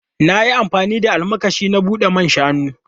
Na yi amfani da almakashi na bude man shanu.